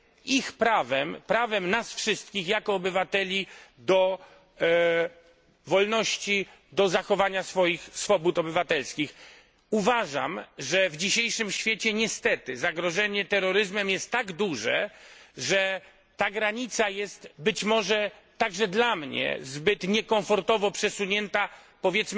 ich prawem, prawem nas wszystkich jako obywateli do wolności, do zachowania swobód obywatelskich? Uważam, że w dzisiejszym świecie niestety zagrożenie terroryzmem jest tak duże, że ta granica, być może także dla mnie, jest zbyt niekomfortowo przesunięta